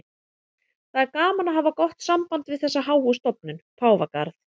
Það er gaman að hafa gott samband við þessa háu stofnun, Páfagarð.